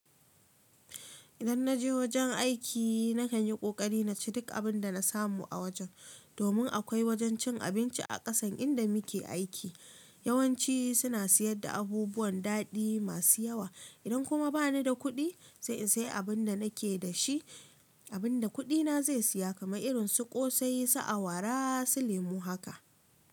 Idan naje wojen aiki na kan yi ƙoƙari na ci duk abin da na samu a wojen. Domin akwai wajen cin abinci a ƙasan inda muke aiki. Yawanci suna siyar da abubuwan daɗi masu yawa. Idan kuma bani da kuɗi sai in sayi abin da nake da shi, abin da kuɗina zai saya kamar irin su ƙosai, sa awara su lemu haka.